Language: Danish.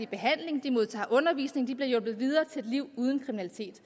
behandling de modtager undervisning de bliver hjulpet videre til et liv uden kriminalitet